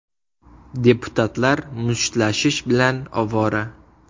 Deputatlar mushtlashish bilan ovora.